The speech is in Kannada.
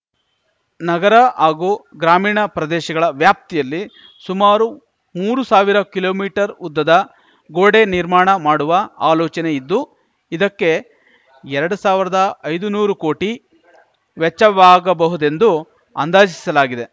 ನಗರ ಆಗೂ ಗ್ರಾಮೀಣ ಪ್ರದೇಶಗಳ ವ್ಯಾಪ್ತಿಯಲ್ಲಿ ಸುಮಾರು ಮೂರು ಸಾವಿರ ಕಿಲೋಮೀಟರ್ ಉದ್ದದ ಗೋಡೆ ನಿರ್ಮಾಣ ಮಾಡುವ ಆಲೋಚನೆ ಇದ್ದು ಇದಕ್ಕೆ ಎರಡು ಸಾವಿರ್ದ ಐದು ನೂರು ಕೋಟಿ ವೆಚ್ಚವಾಗಬಹುದುದೆಂದು ಅಂದಾಜಿಸಲಾಗಿದೆ